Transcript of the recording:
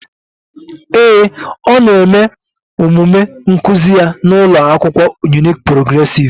Ee e, ọ na-eme omume nkuzi ya n'ụlọ akwụkwọ Unique Progressive.